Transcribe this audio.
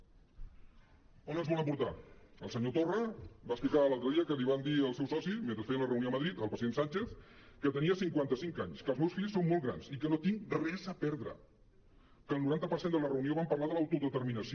on ens volen portar el senyor torra va explicar l’altre dia que li van dir al seu soci mentre feien la reunió a madrid el president sánchez que tenia cinquanta·cinc anys que els meus fills són molt grans i que no tinc res a perdre que el noranta per cent de la reunió van parlar de l’autodeterminació